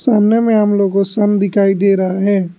सामने में हम लोग को सन दिखाई दे रहा है।